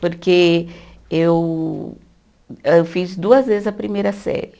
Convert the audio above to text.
Porque eu, âh fiz duas vezes a primeira série.